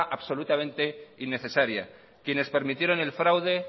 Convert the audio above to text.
absolutamente innecesaria quienes permitieron el fraude